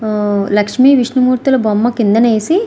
లక్ష్మీ విష్ణుమూర్తి బొమ్మలు కిందనే వేసి --